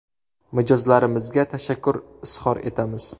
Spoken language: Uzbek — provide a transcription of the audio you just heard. Mijozlarimizga tashakkur izhor etamiz.